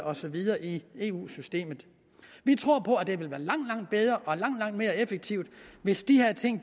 og så videre i eu systemet vi tror det ville være langt langt bedre og langt langt mere effektivt hvis de her ting